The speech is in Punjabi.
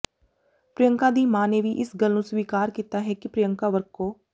ਪਿ੍ਰਅੰਕਾ ਦੀ ਮਾਂ ਨੇ ਵੀ ਇਸ ਗੱਲ ਨੂੰ ਸਵਿਕਾਰ ਕੀਤਾ ਹੈ ਕਿ ਪਿ੍ਰਅੰਕਾ ਵਰਕੋ